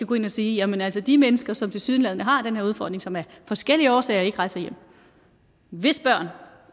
gå ind og sige jamen altså de mennesker som tilsyneladende har den her udfordring som af forskellige årsager ikke rejser hjem hvis børn